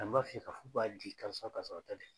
An b'a f'i ye ka fɔ k'a di karisa ka sɔrɔ a ta tɛ